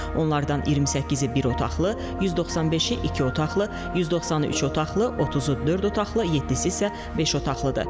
Onlardan 28-i bir otaqlı, 195-i iki otaqlı, 190-ı üç otaqlı, 30-u dörd otaqlı, 7-si isə beş otaqlıdır.